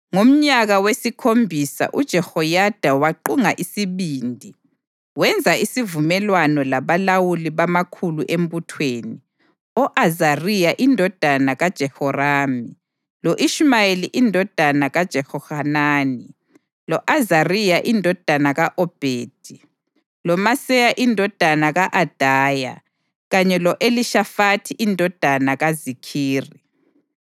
Ngomnyaka wesikhombisa uJehoyada waqunga isibindi. Wenza isivumelwano labalawuli bamakhulu embuthweni: o-Azariya indodana kaJerohamu lo-Ishumayeli indodana kaJehohanani, lo-Azariya indodana ka-Obhedi, loMaseya indodana ka-Adaya kanye lo-Elishafathi indodana kaZikhiri.